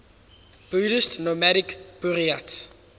buddhist nomadic buryats